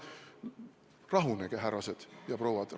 Rahunege, härrased ja prouad!